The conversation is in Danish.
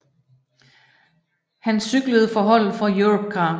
Han cyklede for holdet for Europcar